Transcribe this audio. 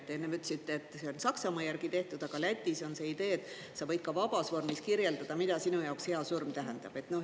Te enne ütlesite, et see on Saksamaa järgi tehtud, aga Lätis on see idee, et sa võid ka vabas vormis kirjeldada, mida sinu jaoks hea surm tähendab.